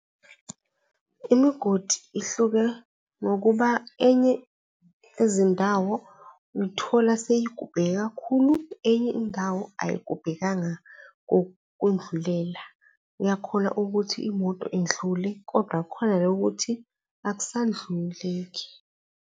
Imigodi ihluke ngokuba enye ezindawo uyithola seyigubheke kakhulu enye indawo ayigubhekanga kudlulela. Uyakhona ukuthi imoto indlule kodwa khona le ukuthi akusadluleki.